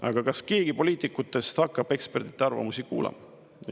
Aga kas keegi poliitikutest hakkab ekspertide arvamusi kuulama?